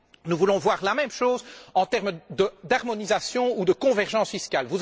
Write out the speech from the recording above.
Nous voulons voir la même chose en termes d'harmonisation ou de convergence fiscale.